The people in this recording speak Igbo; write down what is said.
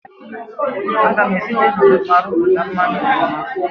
A ga-esite na oroma rụpụta mmanya oroma.